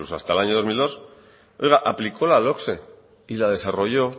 hasta el dos mil dos aplicó la logse y la desarrolló